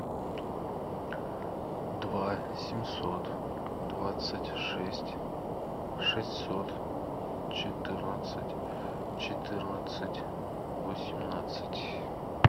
два семьсот двадцать шесть шестьсот четырнадцать четырнадцать восемнадцать